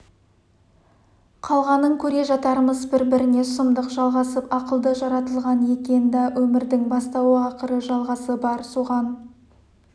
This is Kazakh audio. қалғанын көре жатармыз бір-біріне сұмдық жалғасып ақылды жаратылған екен да өмірдің бастауы ақыры жалғасы бар соған